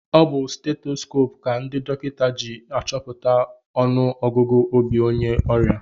Ọ bu stetoskoopu ka ndị dọkịta ji achọpụta ọnụ ọgụgụ obi onye ọrịa.